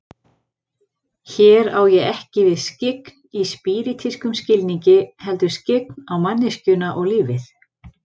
Hér á ég ekki við skyggn í spíritískum skilningi, heldur skyggn á manneskjuna og lífið.